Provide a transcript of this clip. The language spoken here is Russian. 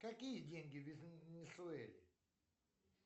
какие деньги в венесуэле